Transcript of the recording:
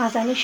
از کاه